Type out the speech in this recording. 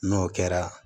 N'o kɛra